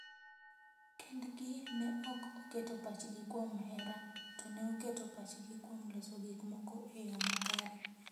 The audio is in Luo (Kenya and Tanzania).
Kend gi ne ok oketo pachgi kuom hera, to ne oketo pachgi kuom loso gik moko e yo makare.